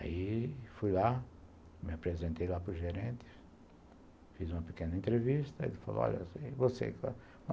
Aí fui lá, me apresentei lá para o gerente, fiz uma pequena entrevista, ele falou assim, e você?